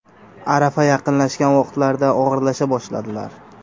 Arafa yaqinlashgan vaqtlarida og‘irlasha boshladilar.